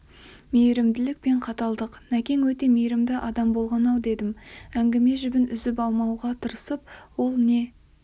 мейірімділік пен қаталдық нәкең өте мейірімді адам болған-ау дедім әңгіме жібін үзіп алмауға тырысып ол не